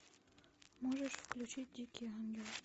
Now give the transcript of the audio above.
можешь включить дикий ангел